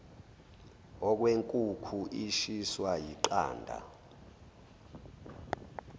okwenkukhu ishiswa yiqanda